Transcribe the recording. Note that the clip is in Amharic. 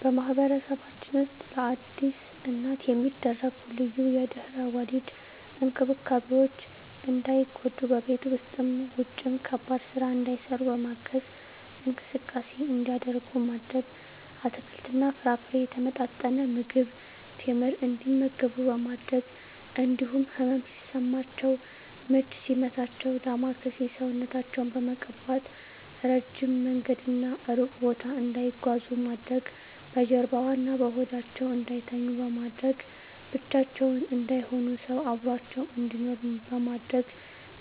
በማህበረሰባችን ውስጥ ለአዲስ እናት የሚደረጉ ልዩ የድህረ ወሊድ እንክብካቤዎች እንዳይጎዱ በቤት ውስጥም ውጭም ከባድ ስራ እንዳይሰሩ በማገዝ፣ እንቅስቃሴ እንዲያደርጉ ማድረግ፣ አትክልትና ፍራፍሬ፣ የተመጣጠነ ምግብ፣ ቴምር እንዲመገቡ በማድረግ እንዲሁም ህመም ሲሰማቸው ምች ሲመታቸው ዳማከሴ ሰውነታቸውን በመቀባት፣ እረጅም መንገድና እሩቅ ቦታ እንዳይጓዙ ማድረግ፣ በጀርባዋ እና በሆዳቸው እንዳይተኙ በማድረግ፣ ብቻቸውን እንዳይሆኑ ሰው አብሮአቸው እንዲኖር በማድረግ